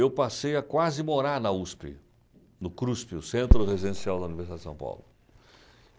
Eu passei a quase morar na USP, no CRUSP, o Centro Residencial da Universidade de São Paulo.